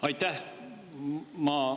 Aitäh!